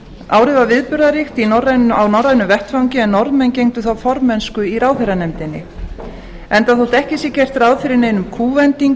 árið var viðburðaríkt á norrænum vettvangi en norðmenn gegndu þá formennsku í ráðherranefndinni enda þótt ekki sé gert ráð fyrir neinum